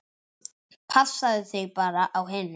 Passaðu þig bara á hinum.